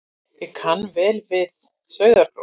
Ég kann vel við Sauðárkrók.